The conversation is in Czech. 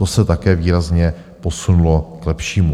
To se také výrazně posunulo k lepšímu.